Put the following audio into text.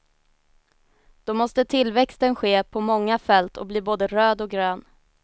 Då måste tillväxten ske på många fält och bli både röd och grön.